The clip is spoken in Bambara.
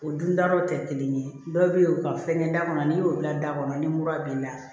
O dun da yɔrɔw tɛ kelen ye dɔw bɛ ye u ka fɛnkɛ da kɔnɔ n'i y'o bila da kɔnɔ ni mura b'i la